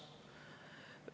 Seadus seda ei ütle.